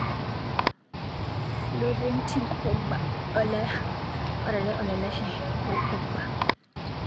Florentin Pogba orare olashe Paul Pogba.